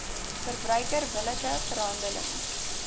verbruiker billike verhandeling